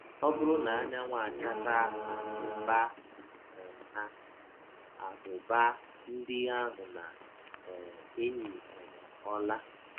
Ọ bụrụ na anyanwụ achasa ábụ́bà um ha, ábụ́bà ndị ahụ na - um eyi um ọla.